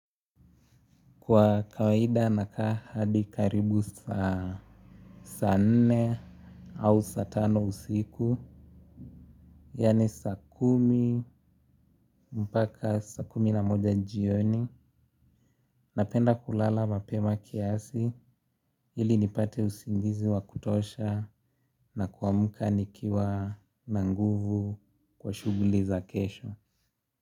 Kwa kawaida nakaa hadi karibu saa nne au saa tano usiku. Yaani saa kumi mpaka saa kumi na moja jioni. Napenda kulala mapema kiasi ili nipate usingizi wa kutosha na kuamka nikiwa na nguvu kwa shughuli za kesho.